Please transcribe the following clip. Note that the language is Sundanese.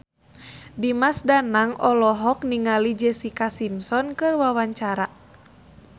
Dimas Danang olohok ningali Jessica Simpson keur diwawancara